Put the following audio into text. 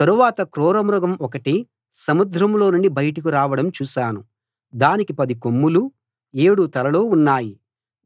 తరువాత క్రూర మృగం ఒకటి సముద్రంలో నుండి బయటకు రావడం చూశాను దానికి పది కొమ్ములూ ఏడు తలలూ ఉన్నాయి